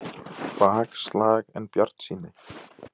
Bakslag en bjartsýni